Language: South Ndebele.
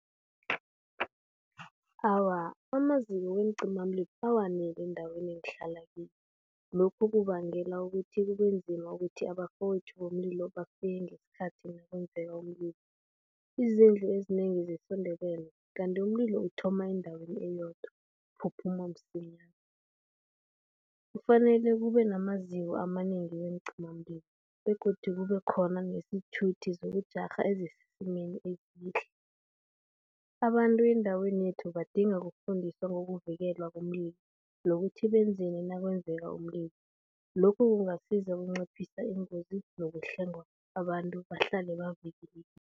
Awa amaziko weencimamlilo, awakaneli endaweni engihlala kiyo. Lokhu kubangela ukuthi kube nzima ukuthi abafowethu bomlilo bafike ngesikhathi nakwenzeka umlilo. Izindlu ezinengi zesiNdebele kanti umlilo uthoma endaweni eyodwa uphuphuma msinyana. Kufanele kube namaziko amanengi weencimamlilo begodu kube khona nesithuthi zokujarha ezisesimeni esihle. Abantu eendaweni yethu badinga ukufundiswa ngokuvikelwa komlilo nokuthi benzani nakwenzeka umlilo. Lokhu kungasiza ukunciphisa iingozini nokuhlenga abantu bahlale bavikelekile.